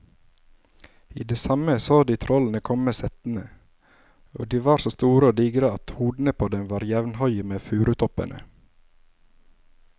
I det samme så de trollene komme settende, og de var så store og digre at hodene på dem var jevnhøye med furutoppene.